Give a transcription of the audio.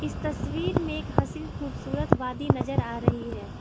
इस तस्वीर में एक हसीन खूबसूरत वादी नजर आ रही है।